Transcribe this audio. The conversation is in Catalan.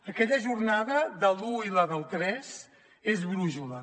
aquella jornada de l’un com la del tres és brúixola